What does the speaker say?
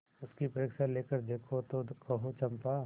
उसकी परीक्षा लेकर देखो तो कहो चंपा